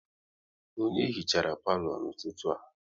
Onye hichara palo n'ụtụtụ a?